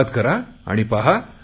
सुरुवात करा आणि पहा